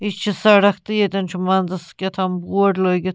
.یہِ چھ سڑکھ تہٕ یتن چُھ منٛزس کہتام بورڈ لٲگِتھ